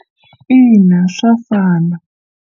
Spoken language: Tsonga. In, a swa fana.